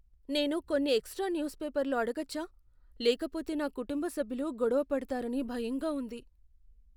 నేను కొన్ని extra news పేపర్లు అడగొచ్చా? లేకపోతే నా కుటుంబ సభ్యులు గొడవపడతారని భయంగా ఉంది.